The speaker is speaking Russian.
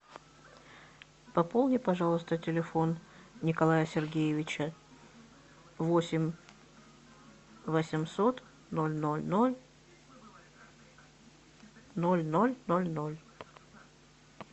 пополни пожалуйста телефон николая сергеевича восемь восемьсот ноль ноль ноль ноль ноль ноль ноль